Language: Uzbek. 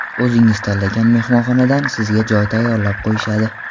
O‘zingiz tanlagan mehmonxonadan sizga joy tayyorlab qo‘yishadi.